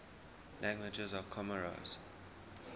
languages of comoros